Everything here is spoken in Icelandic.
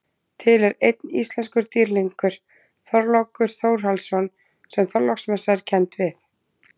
Til er einn íslenskur dýrlingur, Þorlákur Þórhallsson sem Þorláksmessa er kennd við.